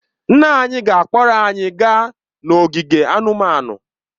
Nna anyị ga-akpọrọ anyị gaa n'ogige anụmanụ